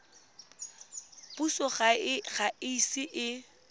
puso ga e ise e